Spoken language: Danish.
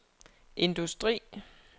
industri